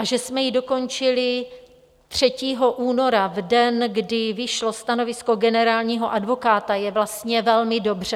A že jsme ji dokončili 3. února, v den, kdy vyšlo stanovisko generálního advokáta, je vlastně velmi dobře.